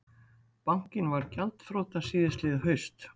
Bankinn varð gjaldþrota síðastliðið haust